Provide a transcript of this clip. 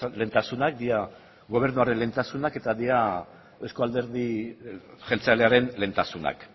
lehentasunak dira gobernuaren lehentasunak eta euzko alderdi jeltzalearen lehentasunak